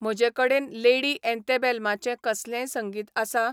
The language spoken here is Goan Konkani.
म्हजे कडेन लेडी एंतेबेलमाचें कसलेंय संगीत आसा